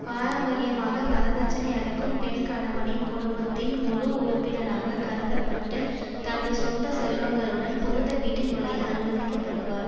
பாரம்பரியமாக வரதட்சினை அளிக்கும் பெண் கணவனின் குடும்பத்தின் முழு உறுப்பினராகக் கருத பட்டு தனது சொந்த செல்வங்களுடன் புகுந்த வீட்டில் நுழைய அனுமதிக்கப்படுவாள்